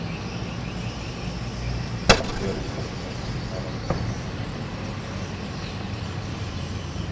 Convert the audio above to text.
премьеры фильмов на рен тв